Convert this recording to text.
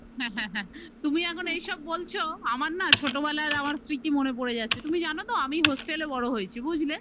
হ্যা হ্যা হ্যা, তুমি এখন এইসব বলছো আমার না ছোটবেলার আমার স্মৃতি মনে পরে যাচ্ছে. তুমি জানো তো আমি hostel এ বড় হয়েছি বুঝলে